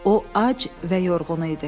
O ac və yorğun idi.